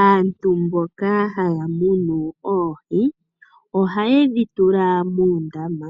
Aantu mboka hayamunu oohii ohayedhitula muundama,